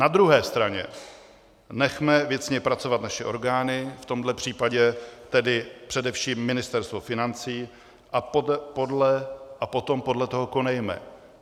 Na druhé straně, nechme věcně pracovat naše orgány - v tomhle případě tedy především Ministerstvo financí -, a potom podle toho konejme.